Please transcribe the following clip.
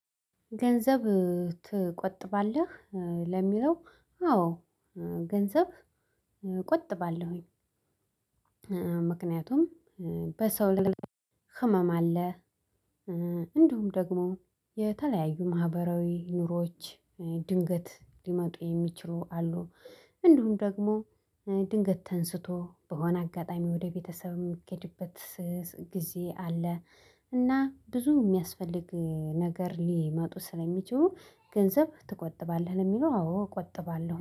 ገንዘብ ትቆጥባለህ? ለሚለው አዎ ገንዘብ እቆጥባለሁኝ። ምክንያቱም በሰው ልል ህመም አለ። እንዲሁም ደግሞ የተለያዩ ማህበራዊ ኑሮዎች ድንገት ሊመጡ የሚችሉ አሉ። እንዲሁም ደግሞ ድንገት ተነስቶ በሆነ አጋጣሚ ወደ ቤተሰብ የሚኬድበት ስስ ጊዜ አለ። እና ብዙ የሚያስፈልግ ነገር ሊመጡ ስለሚችሉ ገንዘብ ትቆጥባለህ ለሚለው አዎ እቆጥባለሁ